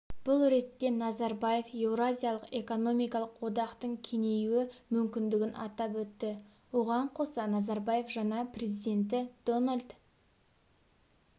бұл ретте назарбаев еуразиялық экономикалық одақтың кеңею мүмкіндігін атап өтті оған қоса назарбаев жаңа президенті дональд